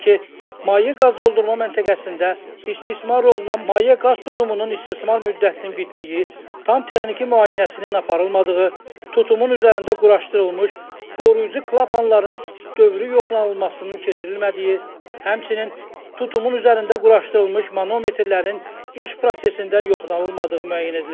Belə ki, maye qaz doldurma məntəqəsində istismar olunan maye qaz tutumunun istismar müddətinin bitdiyi, tam texniki müayinəsinin aparılmadığı, tutumun üzərində quraşdırılmış qoruyucu klapanların dövrü yoxlanılmasının keçirilmədiyi, həmçinin tutumun üzərində quraşdırılmış manometrlərin iş prosesində yoxlanılmadığı müəyyən edilib.